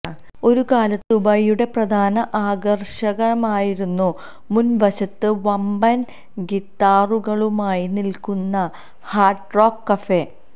ഒരു കാലത്ത് ദുബായിയുടെ പ്രധാന ആകര്ഷണമായിരുന്നു മുന് വശത്ത് വമ്പന് ഗിത്താറുകളുമായി നില്ക്കുന്ന ഹാര്ഡ് റോക്ക് കഫേ